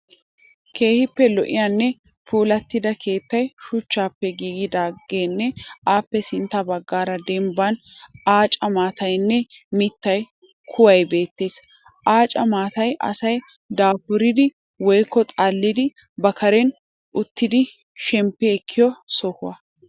Keehippe lo'iyanne puulattida keettay shuchchaappe giigidaageenne appe sintta baggaara dembban aaca maatayinne mittaa kuwayi beettees. Aaca maatayi asay daafuridi (xalalidi) ba karen uttidi shemppi ekkiyo Soho.